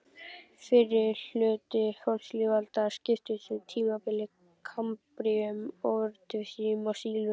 Fyrri hluti fornlífsaldar skiptist í tímabilin kambríum, ordóvísíum og sílúr.